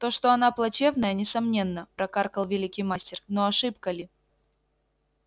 то что она плачевная несомненно прокаркал великий мастер но ошибка ли